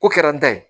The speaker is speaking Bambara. Ko kɛra an ta ye